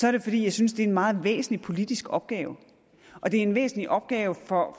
er det fordi jeg synes det er en meget væsentlig politisk opgave og det er en væsentlig opgave for